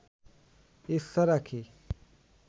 ইচ্ছা রাখি